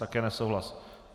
Také nesouhlas.